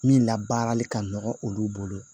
Min labaarali ka nɔgɔn olu bolo